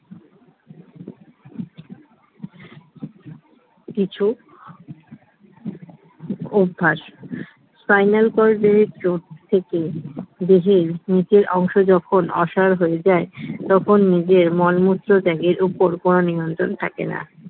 কিছু অভ্যাস spinal cord এর চোট থেকে দেহের নিচের অংশ যখন অসাড় হয়ে যায় তখন নিজের মলমত্র ত্যাগের ওপর কোন নিয়ন্ত্রণ থাকেনা